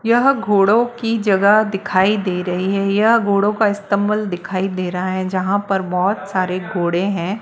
यह घोड़ों की जगह दिखाई दे रही है यह घोड़ा का अस्तबल दिखाई दे रहा है जहां पर बहोत सारे घोड़े हैं।